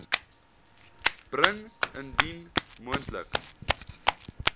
bring indien moontlik